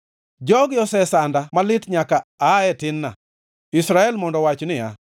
“Jogi osesanda malit nyaka aa e tin-na,” Israel mondo owach niya;